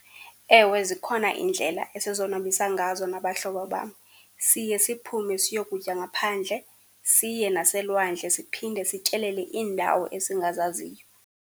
Ewe zikhona iindlela esizonwabisa ngazo nabahlobo bam. Siye siphume siyokutya ngaphandle, siye naselwandle, siphinde sityelele iindawo esingazaziyo.